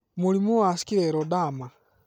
mũrimũ wa scleroderma